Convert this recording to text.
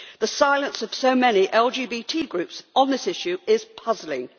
The silence of so many LGBT groups on this issue is puzzling.